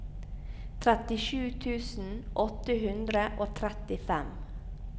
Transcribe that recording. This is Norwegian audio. trettisju tusen åtte hundre og trettifem